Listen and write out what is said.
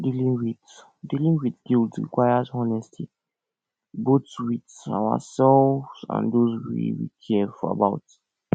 dealing with dealing with guilt requires honesty both with ourselves and those wey we care about